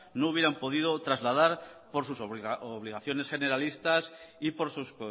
no hubieran podido trasladas por sus obligaciones generalistas y por sus